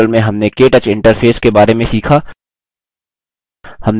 इसी के साथ हम केटच पर इस tutorial की समाप्ति की ओर आ गये हैं